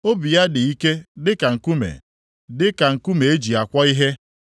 Obi ya dị ike dịka nkume, dịka nkume e ji akwọ ihe.